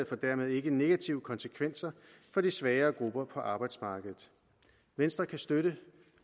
får dermed ikke negative konsekvenser for de svagere grupper på arbejdsmarkedet venstre kan støtte